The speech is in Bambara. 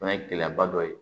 O fɛnɛ ye gɛlɛyaba dɔ ye